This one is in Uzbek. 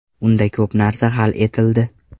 Unda ko‘p narsa hal etildi”.